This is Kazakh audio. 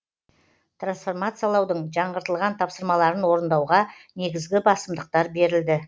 трансформациялаудың жаңғыртылған тапсырмаларын орындауға негізгі басымдықтар берілді